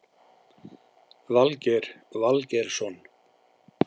Valgeir Valgeirsson